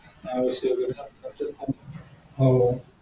हम्म